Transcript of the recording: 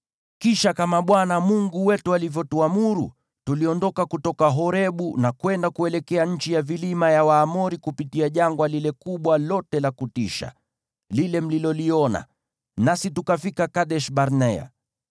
Kisha, kama Bwana Mungu wetu alivyotuamuru, tuliondoka kutoka Horebu na kwenda kuelekea nchi ya vilima ya Waamori, kupitia jangwa lile kubwa lote la kutisha, lile mliloliona, nasi tukafika Kadesh-Barnea.